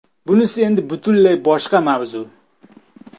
Bunisi endi butunlay boshqa mavzu.